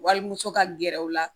Walimuso ka gɛrɛ u la